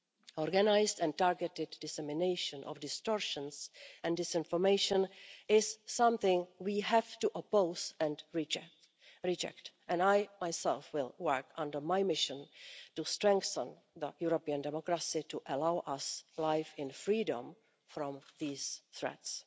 Organised and targeted dissemination of distortions and disinformation is something we have to oppose and reject. I myself will work under my mission to strengthen the European democracy to allow us to live in freedom from these threats.